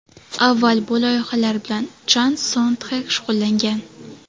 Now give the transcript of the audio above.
Avval bu loyihalar bilan Chan Son Txek shug‘ullangan.